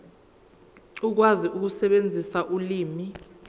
ukwazi ukusebenzisa ulimi